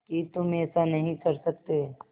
कि तुम ऐसा नहीं कर सकते